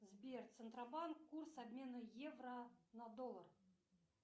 сбер центробанк курс обмена евро на доллар